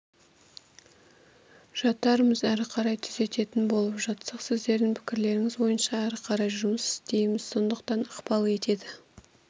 жатармыз әрі қарай түзететін болып жатсақ сіздердің пікірлеріңіз бойынша әріқарай жұмыс істейміз сондықтан ықпал етеді